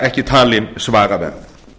ekki talin svaraverð